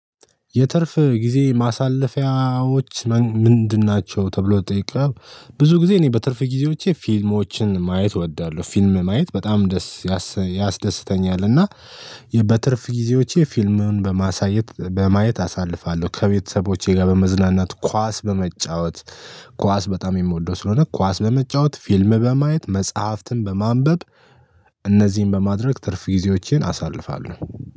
የትርፍ ጊዜ ማሳለፊያዎች ምንድን ናቸው? ተብሎ ተጠይቋል ብዙ ጊዜ እኔ በትርፍ ጊዜዎቼ ፊልሞችን ማየት እወዳለሁ ፊልም ማየት በጣም ደስ ያስደስተኛል እና በትርፍ ጊዜዎቼ ፊልሙን በማሳየት በማየት አሳልፋለሁ ከቤተሰቦቼ ጋር በመዝናናት ኳስ በመጫወት ኳስ በጣም የምወደው ስለሆነ ኳስ በመጫወት ፊልም በማየት መጽሐፍትን በማንበብ እነዚህን በማድረግ ትርፍ ጊዜዎቼን አሳልፋለሁ